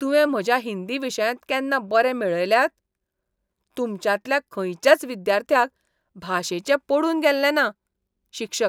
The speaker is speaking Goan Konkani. तुवें म्हज्या हिंदी विशयांत केन्ना बरे मेळयल्यात? तुमच्यांतल्या खंयच्याच विद्यार्थ्याक भाशेचें पडून गेल्लें ना.शिक्षक